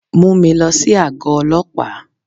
Mú mi lọ sí àgọ́ Ọlọ́pàá.